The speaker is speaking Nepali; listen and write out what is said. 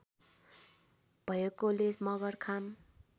भएकोले मगर खाम